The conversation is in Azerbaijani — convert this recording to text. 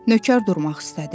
Nökər durmaq istədi.